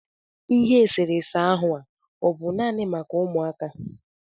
Ihe eserese ahụ a ọ bụ naanị maka ụmụaka?